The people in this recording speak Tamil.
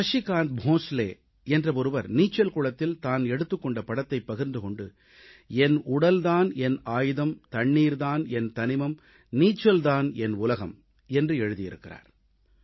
சசிகாந்த் போன்ஸ்லே என்ற ஒருவர் நீச்சல் குளத்தில் தான் எடுத்துக்கொண்ட படத்தை பகிர்ந்து கொண்டு என் உடல் தான் என் ஆயுதம் தண்ணீர் தான் என் தனிமம் நீச்சல் தான் என் உலகம் என்று எழுதியிருக்கிறார்